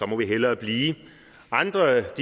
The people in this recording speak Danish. må vi hellere blive andre